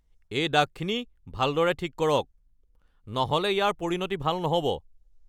এই দাগখিনি ভালদৰে ঠিক কৰক, নহ'লে ইয়াৰ পৰিণতি ভাল নহ'ব!